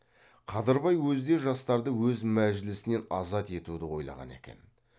қадырбай өзі де жастарды өз мәжілісінен азат етуді ойлаған екен